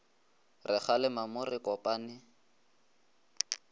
re kgalema mo re kopane